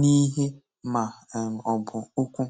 na ihe ma um ọ bụ okwu.